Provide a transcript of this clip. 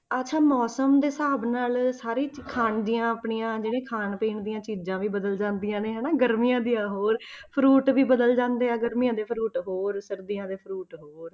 ਅੱਛਾ ਮੌਸਮ ਦੇ ਹਿਸਾਬ ਨਾਲ ਸਾਰੇ ਹੀ ਸਾਰੇ ਖਾਣ ਦੀਆਂ ਜਿਹੜੀਆਂ ਖਾਣ ਪੀਣ ਦੀਆਂ ਚੀਜ਼ਾਂ ਵੀ ਬਦਲ ਜਾਂਦੀਆਂ ਨੇ ਹਨਾ, ਗਰਮੀਆਂ ਦੀਆਂ ਹੋਰ fruit ਵੀ ਬਦਲ ਜਾਂਦੇ ਆ, ਗਰਮੀਆਂ ਦੇ fruit ਹੋਰ ਸਰਦੀਆਂ ਦੇ fruit ਹੋਰ।